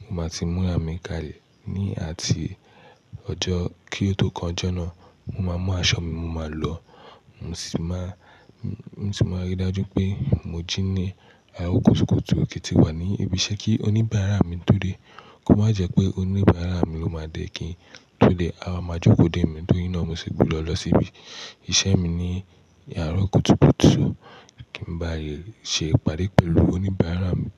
mo máa ti múra mi ká lè ní àti ọjọ́ kí ó tó kanjọ́na. Mo máa mú aṣọ mi, mo máa lọ, mo sì máa, mo sì máa rí i dájú pé mo jí ní àárọ̀ kùtùkùtù kí n ti wà ní ibi iṣẹ́ kí oníbàárà mi tó dé. Kó má jẹ́ pé oníbàárà mi ló máa dé kí n tó dé. Awa máa jókòó dè mí tóri naa mo si gbodọ́ lọ síbi iṣẹ́ mi ní àárọ̀ kùtùkùtù kí n ba lè ṣe ìpàdé pẹ̀lú oníbàárà mi.